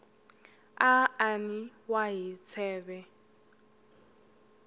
a an wa hi tsheve